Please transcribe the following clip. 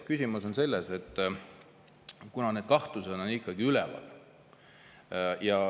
Küsimus on selles, et need kahtlused on ikkagi üleval.